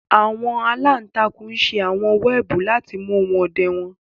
àwọn àlantàkùn ṣe àwọn wẹẹbu lati mu ohun ọdẹ wọn